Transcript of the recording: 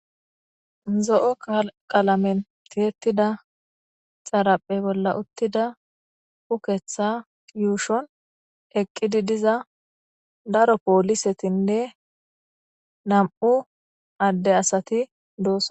zo7o qalamen tiyetida xaraphe bolla uttida uketha yuushon eqqidi diza daro poolisetinne nam7u adde asati doosona